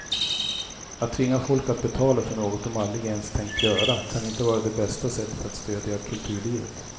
Att tvinga folk att betala för något de aldrig ens tänkt göra kan inte vara det bästa sättet att stödja kulturlivet.